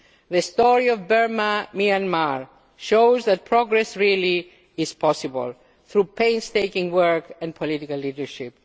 The story of Burma Myanmar shows that progress really is possible through painstaking work and political leadership.